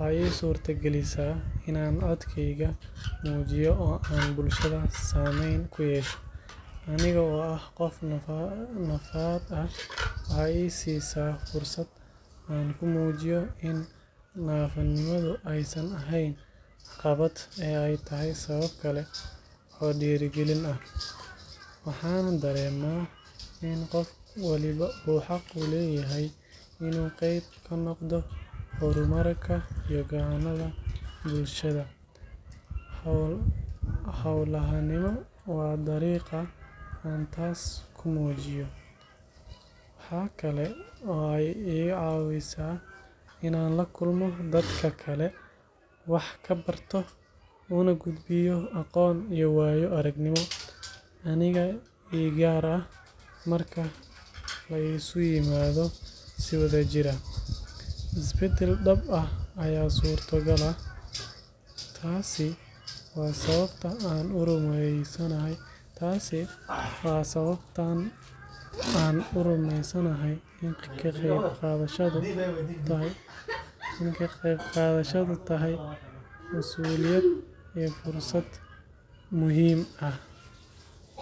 wexey isurta galisa inan codkeyga mujiyo aan bulshada sameyn kuyesho anigo aah qof naafa aah wexey isiisa fursad aan kumujiyo iin nafanimada eey caqabad eheen oo eey tahy sabab kale oo dirigilin aah .waxana dareema iin qof walba xaq uleyahy inuu qeyb ka noqdo hormurka iyo gacanada bulshada. howlanima wa dariqa aan taas kumujiya. waxakale ooo ii igacawisa inan lakulo dadka kale wax kabarto aana aqonto ugudbiyo iyo wayo aragnimo igaar aah marki la isk imado si wadajir aah. isbadal daab aya surta gala. taaswaa sababta aan urumeysanahy kaqeyb qadhashadu thy masuuliyada iyo fursad muhim aah